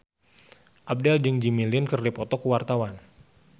Abdel jeung Jimmy Lin keur dipoto ku wartawan